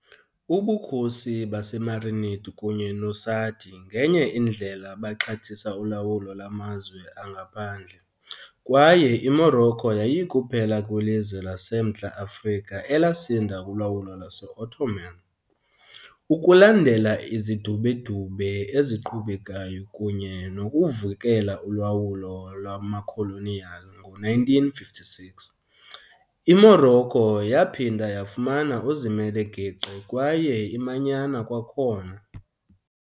Ubukhosi baseMarinid kunye noSaadi ngenye indlela baxhathisa ulawulo lwamazwe angaphandle, kwaye iMorocco yayikuphela kwelizwe laseMntla Afrika elasinda kulawulo lwase-Ottoman. Ukulandela izidubedube eziqhubekayo kunye nokuvukela ulawulo lwamakholoniyali, ngo-1956, iMorocco yaphinda yafumana uzimele-geqe kwaye imanyana kwakhona.